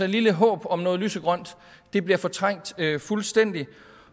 lille håb om noget lysegrønt bliver fortrængt fuldstændig